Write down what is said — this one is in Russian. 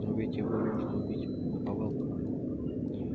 но ведь его можно убить наповал